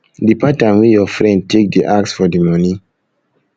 the pattern wey your friend take dey ask for di money